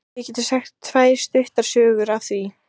Við getum sagt tvær stuttar sögur af því.